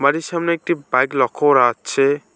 বাড়ির সামনে একটি বাইক লক্ষ্য করা আচ্ছে ।